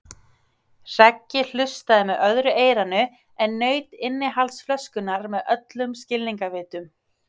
Hreggi hlustaði með öðru eyranu en naut innihalds flöskunnar með öllum skilningarvitum.